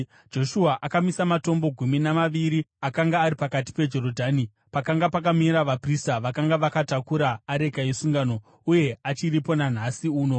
Joshua akamisa matombo gumi namaviri akanga ari pakati peJorodhani pakanga pakamira vaprista vakanga vakatakura areka yesungano. Uye achiripo nanhasi uno.